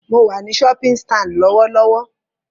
Mo wà ní shopping stand lọ́wọ́lọ́wọ́